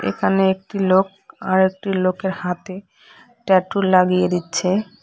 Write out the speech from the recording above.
এখানে একটি লোক আরেকটি লোকের হাতে ট্যাটু লাগিয়ে দিচ্ছে।